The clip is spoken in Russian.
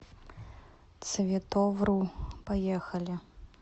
цветовру поехали